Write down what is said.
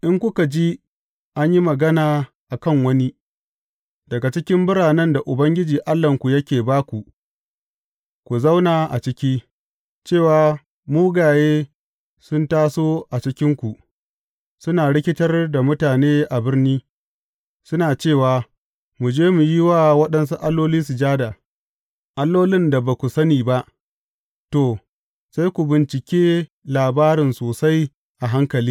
In kuka ji an yi magana a kan wani daga cikin biranen da Ubangiji Allahnku yake ba ku ku zauna a ciki cewa mugaye sun taso a cikinku, suna rikitar da mutane a birni, suna cewa, Mu je mu yi wa waɗansu alloli sujada allolin da ba ku sani ba, to, sai ku bincike labarin sosai a hankali.